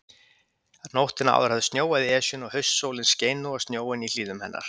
Nóttina áður hafði snjóað í Esjuna, og haustsólin skein nú á snjóinn í hlíðum hennar.